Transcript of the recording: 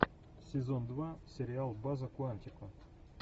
сезон два сериал база куантико